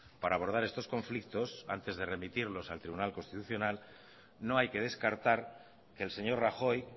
para abordar estos conflictos antes de remitirlos al tribunal constitucional no hay que descartar que el señor rajoy